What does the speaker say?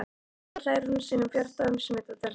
Svo hlær hún sínum bjarta og smitandi hlátri.